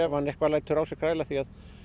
hann eitthvað lætur á sér kræla því